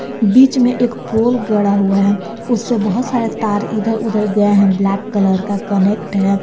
बीच में एक पोल गढ़ा हुआ है उससे बहुत सारे तार इधर उधर गए हैं ब्लैक कलर का कनेक्ट है।